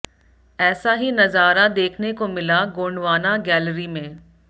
ऐसा ही नजारा देखने को मिला गोंडवाना गैलरी में